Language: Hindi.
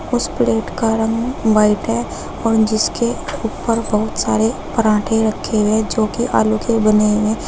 उस प्लेट का रंग व्हाइट है और जिसके ऊपर बहुत सारे पराठे रखे हुए जो कि आलू के बने हुए--